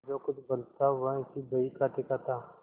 जो कुछ बल था वह इसी बहीखाते का था